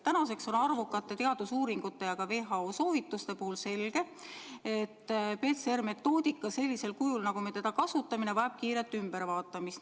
Tänaseks on arvukate teadusuuringute ja WHO soovituste põhjal selge, et PCR-metoodika sellisel kujul, nagu me seda kasutame, vajab kiiret ülevaatamist.